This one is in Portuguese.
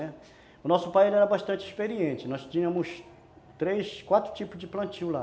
O nosso pai era bastante experiente, nós tínhamos três, quatro tipos de plantio lá.